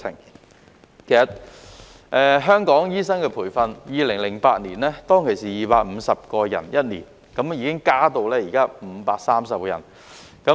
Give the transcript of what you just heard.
其實，香港醫生的培訓，在2008年是一年培訓250人，現時已增至530人。